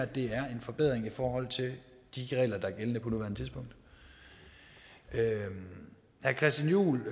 det her er en forbedring i forhold til de regler der er gældende på nuværende tidspunkt herre christian juhl